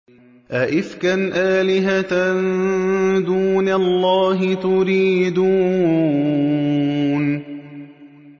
أَئِفْكًا آلِهَةً دُونَ اللَّهِ تُرِيدُونَ